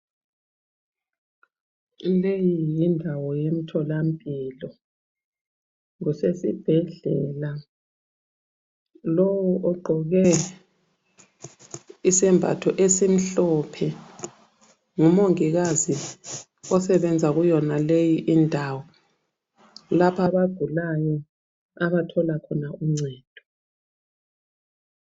Leyi yindawo yemtholampilo, kusesibhedlela. Lowu ogqoke isembatho esimhlophe ngumongikazi osebenza kuyonaleyi indawo, lapho abagulayo abathola khona uncedo.